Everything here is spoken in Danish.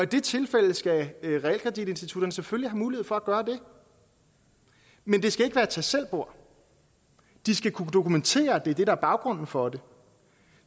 de tilfælde skal realkreditinstitutterne selvfølgelig mulighed for at gøre det men det skal ikke være et tag selv bord de skal kunne dokumentere at det er det der er baggrunden for det